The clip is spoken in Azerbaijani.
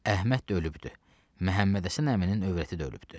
Əhməd də ölübdü, Məhəmmədhəsən əminin övrəti də ölübdü.